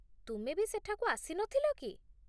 ତୁମେ ବି ସେଠାକୁ ଆସିନଥିଲ କି ?